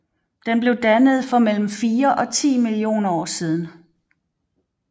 Den blev dannet for mellem fire og ti millioner år siden